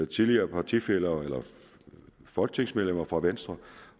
tidligere partifæller eller folketingsmedlemmer fra venstre